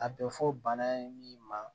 A bɛ fɔ bana ye min ma